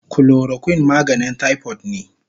Chloroquine maganin typhoid ne